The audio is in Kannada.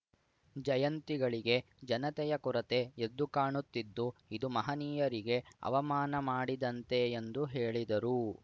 ಜಯಂತಿಗಳಿಗೆ ಜನತೆಯ ಕೊರತೆ ಎದ್ದು ಕಾಣುತಿದ್ದು ಇದು ಮಹನೀಯರಿಗೆ ಅವಮಾನ ಮಾಡಿದಂತೆ ಎಂದು ಹೇಳಿದರು